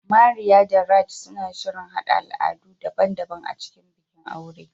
Maria da Raj suna shirin haɗa al'adu daban-daban a cikin bikin auren